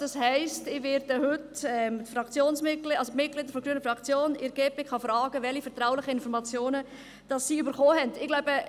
Das heisst, ich werde heute die GPK-Mitglieder unserer Fraktion fragen, welche vertraulichen Informationen sie erhalten haben.